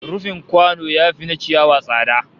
Rufin kwano yafi na ciyawa tsada